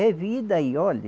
É vida e olhe